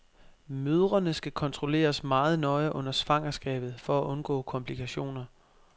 Mødrene skal kontrolleres meget nøje under svangerskabet for at undgå komplikationer.